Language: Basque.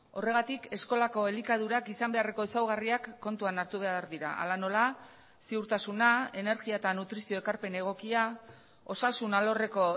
horregatik eskolako elikadurak izan beharreko ezaugarriak kontuan hartu behar dira hala nola ziurtasuna energia eta nutrizio ekarpen egokia osasun alorreko